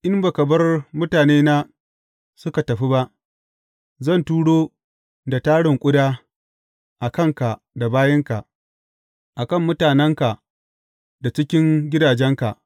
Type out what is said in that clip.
In ba ka bar mutanena suka tafi ba, zan turo da tarin ƙuda a kanka da bayinka, a kan mutanenka da cikin gidajenka.